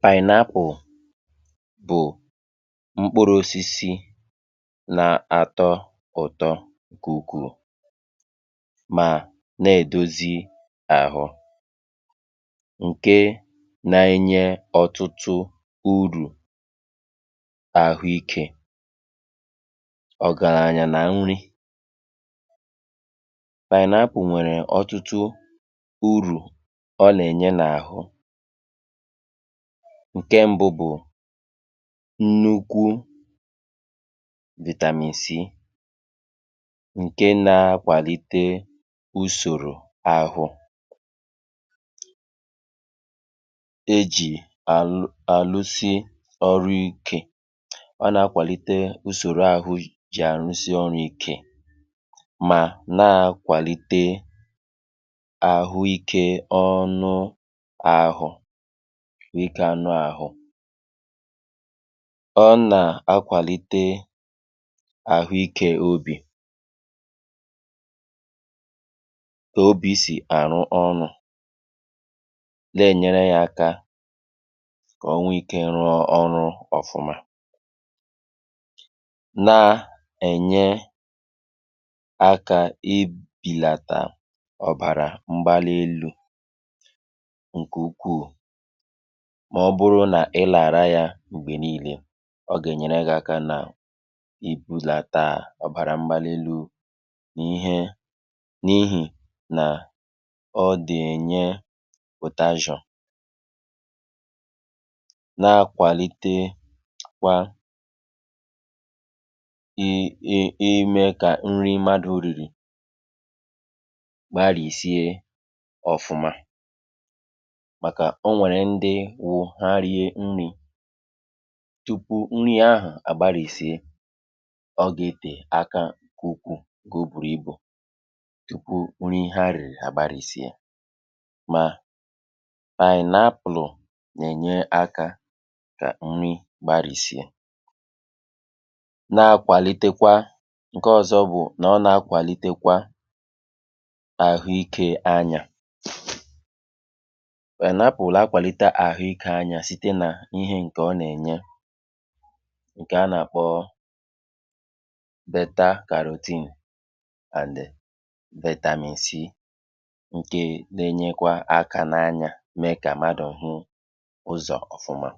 FILE 133 pineapple bụ̀ mkpụrụ̄ osisi na atọ ụ̀tọ ǹkẹ̀ ukwù, mà nà èdozi ahụ, ǹkẹ na ẹnyẹ ọtụtụ urù nà àhụ ikē, ọ̀gàrànyà nà nri. pineapple nwẹ̀rẹ̀ ọtụtụ urù ọ nà ẹ̀nyẹ n’àhụ. ǹkẹ mbụ bụ̀ nnukwu vitamin C, ǹkẹ na akwàlite usòrò ahụ, ejì àlụ àlụsị ọrụ ikē. ọ nà akwàlite usòro ahụ jì àrụsị ọrụ̄ ike, mà na akwàlite àhụ ikē ị ọnụ ahụ̀, dịkà anụ ahụ. ọ nà akwàlite àhụ ikē obì, obī sì àrụ ọrụ̄, nà ẹnyẹrẹ ya aka, kà ọ nwẹ ikē rụọ ọrụ ọfụma, na ẹ̀nyẹ akā I bìlàtà ọ̀bàrà mgbalị elū, ǹkẹ̀ ukwù, mà ọ bụrụ nà ị nà àra ya m̀gbẹ̀ nille. ọ gà ẹ̀nyẹrẹ gị aka nà I būlata ọ̀bàrà mgbali elū, na ihe, n’ihì nà ọ dị̀ ẹ̀nyẹ potassium. na akwàlitekwa ịmẹ kà ị ị ị nrị m̀madū rìrì gbarìsie ọfụma, màkà ọ nwẹ̀rẹ̀ ndị wụ ha rie nrị̄, tupu nrī ahụ̀ àgbarìsie, ọ gà etè aka ukwù ǹkẹ̀ o bùrù ibù tupu nri ha rìrì àgbarìsie, mà pineapple nà ènye akā kà nri gbarìsie, na akwàlitekwa, ǹkẹ ọzọ bụ̀ nà ọ nà akwàlitekwa àhụ ikē anyā pineapple nà akwàlitekwa àhụ ikē anyā site nà ihē ǹkẹ̀ ọ nà ẹ̀nyẹ, ǹkẹ̀ a nà àkpọ beta carotene and vitamin C, ǹke na ẹnyẹkwa akā na anyā mẹ kà m̀madù hụ ụzọ̀ ọ̀fụma.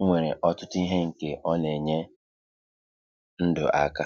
ọ nwèrè ọtụtụ ihē ǹkè ọ nà ènye ndụ̀ akā